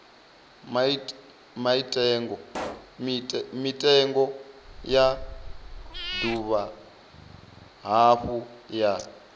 mitengo ya dovha hafhu ya